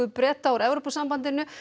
Breta úr Evrópusambandinu